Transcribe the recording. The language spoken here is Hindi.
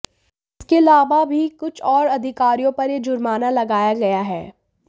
इसके अलावा भी कुछ और अधिकारियों पर यह जुर्माना लगाया गया है